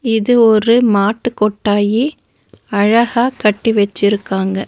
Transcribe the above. இது ஒரு மாட்டு கொட்டாயி அழகா கட்டி வச்சிருக்காங்க.